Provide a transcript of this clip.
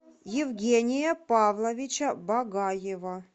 евгения павловича багаева